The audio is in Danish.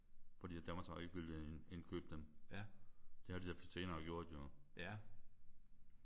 Fordi at Danmarks Radio ikke ville indkøbe dem. Det har de jo senere gjort jo